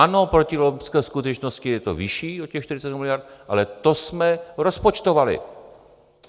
Ano, proti loňské skutečnosti je to vyšší o těch 47 miliard, ale to jsme rozpočtovali.